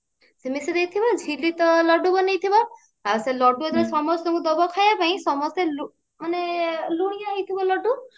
ସେ ମିଶେଇ ଦେଇଥିବ ଝିଲି ତ ଳଡ୍ଡୁ ବନେଇ ଥିବ ଆ ସେ ଳଡ୍ଡୁ ଯେତେବେଳେ ସମସ୍ତଙ୍କୁ ଦବ ଖାଇବାପାଇଁ ସମସ୍ତେ ଲୁ ମାନେ ଲୁଣିଆ ହେଇଥିବା ଳଡ୍ଡୁ